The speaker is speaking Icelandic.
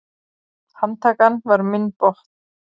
Handtakan var minn botn.